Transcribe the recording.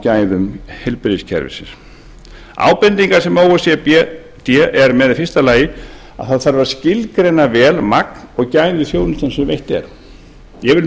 gæðum heilbrigðiskerfisins ábendingar sem o e c d er með eru fyrstu að það þarf að skilgreina vel magn og gæði þjónustunnar sem veitt er ég vil minna